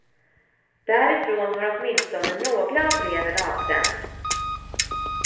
Därifrån har åtminstone några av breven avsänts.